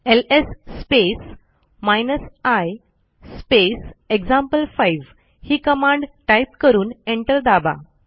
LS space hyphen I space example ही command type करून enter दाबा